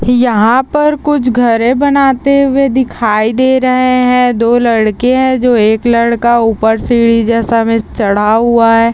यहाँ पर कुछ घड़े बनाते हुए दिखाई दे रहे हैदो लड़के है जो एक लड़का ऊपर सीढ़ी जैसा मे चढ़ा हुआ है ।